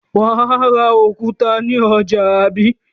Wà á ra òkúta ní ọjà, àbí?